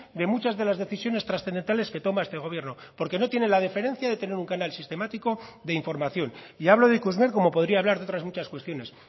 de muchas de las decisiones trascendentales que toma este gobierno porque no tiene la deferencia de tener un canal sistemático de información y hablo de ikusmer como podría hablar de otras muchas cuestiones